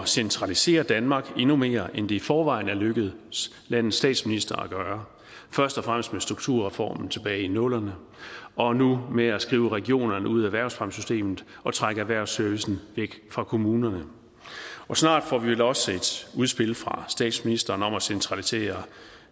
centralisere danmark endnu mere end det i forvejen er lykkedes landets statsminister at gøre først og fremmest med strukturreformen tilbage i nullerne og nu ved at skrive regionerne ud af erhvervsfremmesystemet og trække erhvervsservicen væk fra kommunerne og snart får vi vel også et udspil fra statsministeren om at centralisere